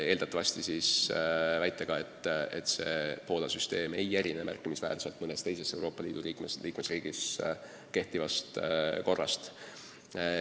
Eeldatavasti väidetakse, et Poola süsteem ei erine märkimisväärselt mõnes teises Euroopa Liidu riigis kehtivast korrast.